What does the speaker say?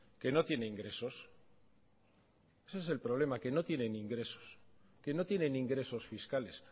que no tiene ingresos ese es el problema que no tienen ingresos que no tienen ingresos fiscales